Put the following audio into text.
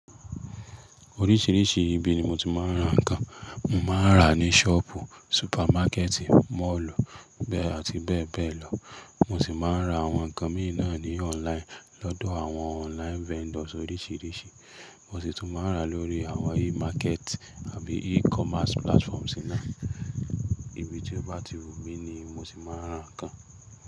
Oríṣìíríṣìí ibi ni mo ti máa ń ra nǹkan. Mo máa ń ra ní ṣọ́pù, súpámákẹ́tì, moolù, bẹ́ẹ̀ àti bẹ́ẹ̀ bẹ́ẹ̀ lọ. Mo sì máa ń ra àwọn nǹkan míì náà ní online lọ́dọ̀ àwọn online vendors oríṣìíríṣìí. Mo sì tún máa ń ra lórí àwọn e-market àbí e-commerce platforms náà. Ibi tí ó bá ti wù mí ni mo sì máa ń ra nǹkan.